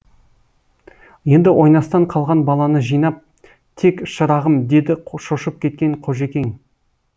енді ойнастан қалған баланы жинап тек шырағым деді шошып кеткен қожекең